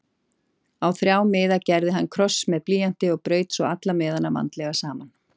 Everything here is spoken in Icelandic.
Á þrjá miða gerði hann kross með blýanti og braut svo alla miðana vandlega saman.